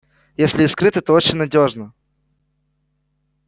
если и скрыто то очень надёжно